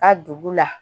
Ka dugu la